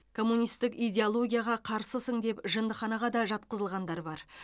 коммунистік идеологияға қарсысың деп жындыханаға да жатқызылғандар бар